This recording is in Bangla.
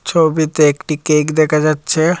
ছবিতে একটি কেক দেখা যাচ্ছে।